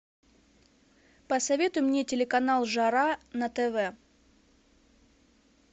посоветуй мне телеканал жара на тв